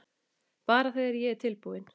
Bara þegar ég er tilbúin